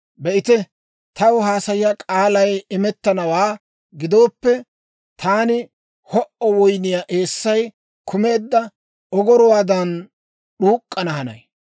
Be'ite, taw haasayiyaa kaalay imettennawaa gidooppe, taani ho"o woyniyaa eessay kumeedda ogoruwaadan d'uuk'k'ana hanay.